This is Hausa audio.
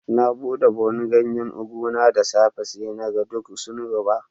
Na bude buhu'n ganyen ugu na da safe'n nan. Sai na gan duk sun ruba.